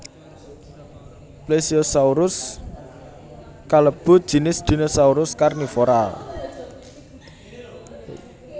Plesiosaurus kalebu jinis dinosaurus karnivora